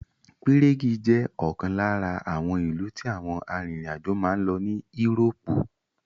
Pírégì ( Prague) jẹ́ ọ̀kan lára àwọn ìlú tí àwọn arìnrìn àjò máa ń lọ ní írópù (Europe)